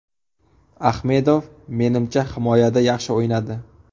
Ahmedov, menimcha, himoyada yaxshi o‘ynadi.